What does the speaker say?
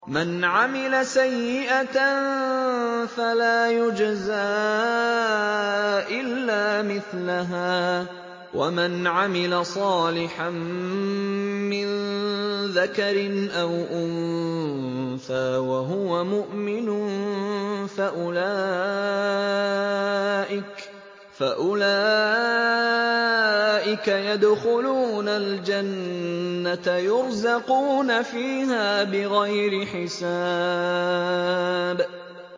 مَنْ عَمِلَ سَيِّئَةً فَلَا يُجْزَىٰ إِلَّا مِثْلَهَا ۖ وَمَنْ عَمِلَ صَالِحًا مِّن ذَكَرٍ أَوْ أُنثَىٰ وَهُوَ مُؤْمِنٌ فَأُولَٰئِكَ يَدْخُلُونَ الْجَنَّةَ يُرْزَقُونَ فِيهَا بِغَيْرِ حِسَابٍ